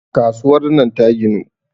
kasuwar nan ta ginu